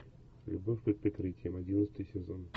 любовь под прикрытием одиннадцатый сезон